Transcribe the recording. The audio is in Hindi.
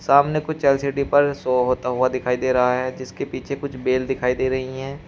सामने कुछ एल_सी_डी पर शो होता हुआ दिखाई दे रहा है जिसके पीछे कुछ बेल दिखाई दे रही हैं।